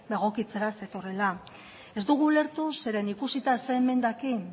egokitzera zetorrela ez dugu ulertu zeren ikusita zein emendakin